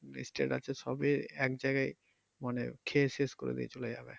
state আছে সবই এক জায়গায় মানে শেষ করে দিয়ে চলে যাবে।